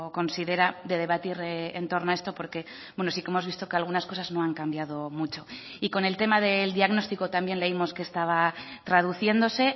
considera de debatir en torno a esto porque sí que hemos visto que algunas cosas no han cambiado mucho y con el tema del diagnóstico también leímos que estaba traduciéndose